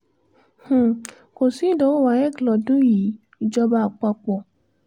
um kò sí ìdánwò waec lọ́dún yìí ìjọba àpapọ̀